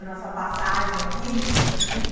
A nossa passagem aqui, a gente tem que...